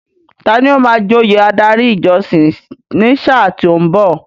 Tani ó máa joyè adarí ìjọsìn ní sáà tí ó ń bọ̀?